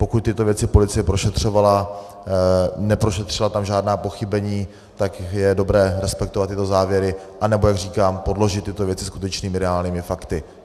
Pokud tyto věci policie prošetřovala, neprošetřila tam žádná pochybení, tak je dobré respektovat tyto závěry, anebo, jak říkám, podložit tyto věci skutečnými reálnými fakty.